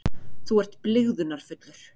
Þú ert blygðunarfullur.